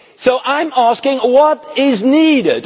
So I am asking what is needed?